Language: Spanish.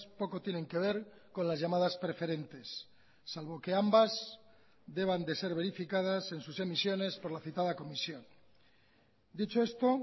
poco tienen que ver con las llamadas preferentes salvo que ambas deban de ser verificadas en sus emisiones por la citada comisión dicho esto